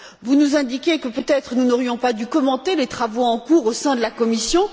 Vous nous indiquez que, peut être, nous n'aurions pas dû commenter les travaux en cours au sein de la Commission.